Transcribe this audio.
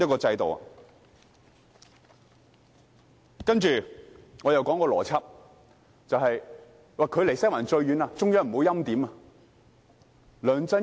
接着，我要討論一個邏輯，就是"距離西環最遠的"，中央不會欽點。